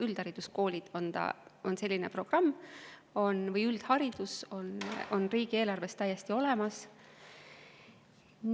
Üldhariduskoolide või üldhariduse programm on riigieelarves täiesti olemas.